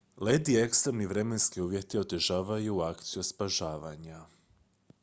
led i ekstremni vremenski uvjeti otežavaju akciju spašavanja